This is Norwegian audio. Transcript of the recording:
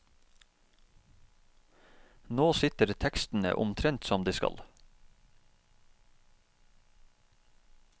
Nå sitter tekstene omtrent som de skal.